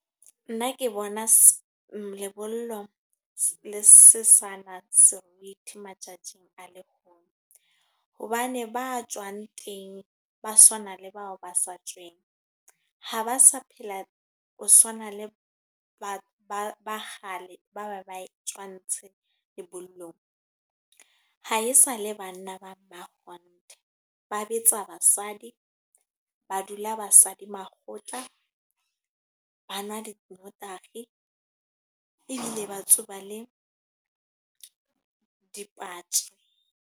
Nna ke bona lebollo le se sana serethi matsatsing a legono. Hobane ba tswang teng, ba tshwana le bao ba sa tsweng. Ha ba sa phela ho swana le ba kgale ba be ba tswa lebollong. Ha esale banna ba makgonthe. Ba betsa ba basadi, ba dula basadi makgotla, ba nwa . Ebile ba tsuba le dipatje.